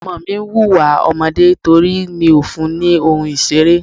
Ọmọ mi ń hùwà ọmọdé nítorí mi ò fún ní ohun ìṣeré.